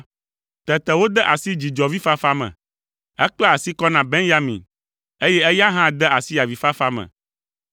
Tete wòde asi dzidzɔvifafa me. Ekpla asi kɔ na Benyamin, eye eya hã de asi avifafa me.